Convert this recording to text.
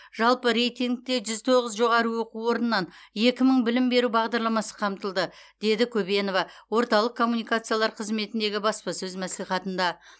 жалпы рейтингте жүз тоғыз жоғары оқу орнынан екі мың білім беру бағдарламасы қамтылды деді көбенова орталық коммуникациялар қызметіндегі баспасөз мәслихатында